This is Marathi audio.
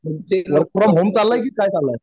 प्रत्येक लोकं